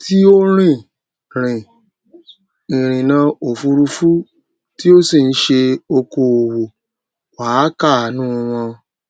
tí ó rin rin ìrìnà òfurufú tí ó sì ń ṣe okòòwò wà á káànú wọn